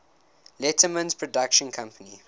letterman's production company